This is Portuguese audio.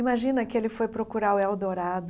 Imagina que ele foi procurar o El Dourado.